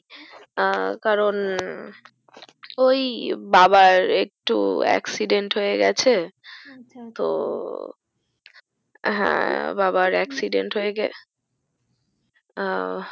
আহ কারণ ওই বাবার একটু accident হয়েগেছে আচ্ছা আচ্ছা তো হ্যা বাবার accident আহ